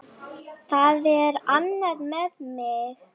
Það er annað með mig.